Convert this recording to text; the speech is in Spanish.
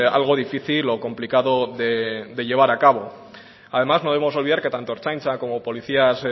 algo difícil o complicado de llevar a cabo además no debemos olvidar que tanto ertzaintza como policías